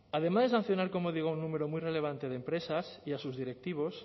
además de sancionar como digo a un número muy relevante de empresas y a sus directivos